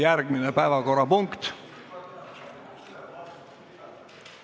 Järgmine päevakorrapunkt ...